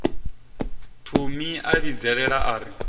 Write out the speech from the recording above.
thomi a vhidzelela a ri